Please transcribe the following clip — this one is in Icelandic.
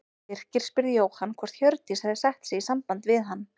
Birkir spurði Jóhann hvort Hjördís hefði sett sig í samband við hann.